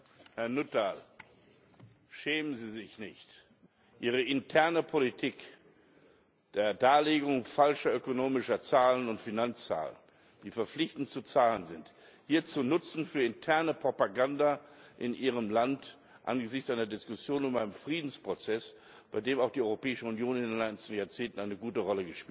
Frau Präsidentin! Herr Nuttall, schämen Sie sich nicht, Ihre interne Politik der Darlegung falscher ökonomischer Zahlen und Finanzzahlen, die verpflichtend zu zahlen sind, hier zu nutzen für interne Propaganda in Ihrem Land angesichts einer Diskussion um einen Friedensprozess, bei dem auch die Europäische Union in den einzelnen Jahrzehnten eine gute Rolle gespielt hat?